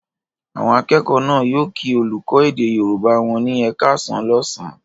Àwọn akẹ́kọ̀ọ́ náà yóò kí olùkọ́ èdè Yorùbá wọn ní "ẹ káàsán" lọ́sàn-án.